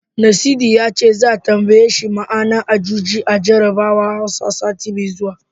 Nasidi ya ce, za'a tambaye shi ma'anar Ajuji a jarabawar Hausa, sati mai zuwa.